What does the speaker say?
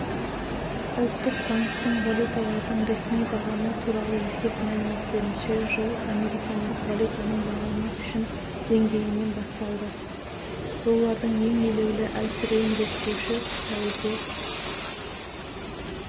ұлттық банктің валюталардың ресми бағамы туралы есеп мәліметтерінше жыл американдық валютаның бағамы үшін деңгейінен басталды доллардың ең елеулі әлсіреуін реттеуші сәуірде